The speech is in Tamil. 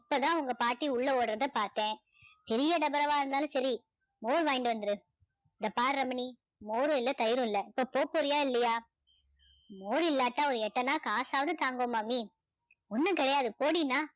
இப்பதான் உங்க பாட்டி உள்ள ஓடுறத பாத்தேன் பெரிய டபரவா இருந்தாலும் சரி மோர் வாங்கிட்டு வந்துரு இங்க பாரு ரமணி மோரும் இல்ல தயிரும் இல்ல இப்போ போப்போறியா இல்லையா மோர் இல்லாட்டா ஒரு எட்டனா காசாவது தாங்கோ மாமி ஒன்னும் கிடையாது போடின்னா